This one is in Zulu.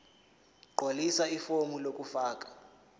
gqwalisa ifomu lokufaka